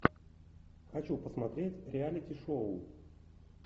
хочу посмотреть реалити шоу